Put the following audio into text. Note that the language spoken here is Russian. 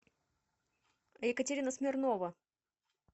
екатерина смирнова